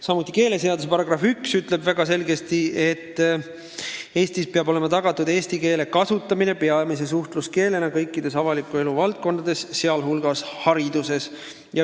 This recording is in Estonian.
Samuti ütleb keeleseaduse § 1 väga selgesti, et Eestis peab olema tagatud eesti keele kasutamine peamise suhtluskeelena kõikides avaliku elu valdkondades, sh hariduses.